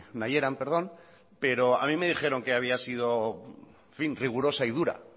nahieran perdón pero a mí me dijeron que había sido rigurosa y dura